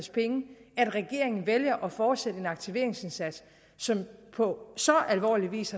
at regeringen vælger at fortsætte en aktiveringsindsats som på så alvorlig vis